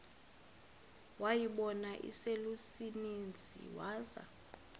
wayibona iselusizini waza